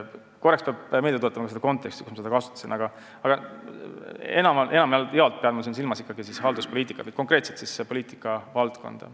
Korraks peab ehk meelde tuletama seda konteksti, kus ma seda sõna kasutasin, aga enamjaolt pean ma silmas ikkagi halduspoliitikat, konkreetselt seda poliitikavaldkonda.